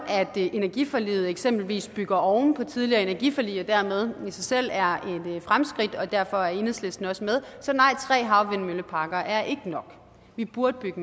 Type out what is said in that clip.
energiforliget eksempelvis bygger oven på tidligere energiforlig og dermed i sig selv er et fremskridt og derfor er enhedslisten også med så nej tre havvindmølleparker er ikke nok vi burde bygge